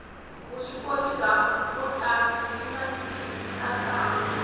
vuswikoti bya mutlangi byi nandzihisa ntlangu